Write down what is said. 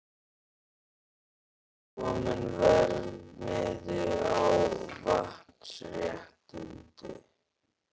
Er kominn verðmiði á vatnsréttindi?